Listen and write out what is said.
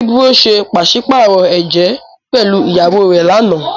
Ibro ṣe paṣipaarọ ẹjẹ pẹlu ìyàwó rẹ lànà.